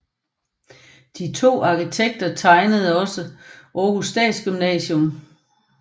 De to arkitekter tegnede også Århus Statsgymnasium